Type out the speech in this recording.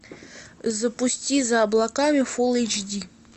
запусти за облаками фул эйч ди